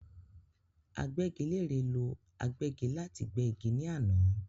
Agbẹ́gilére ló agbẹ́gi láti gbé igi ní àná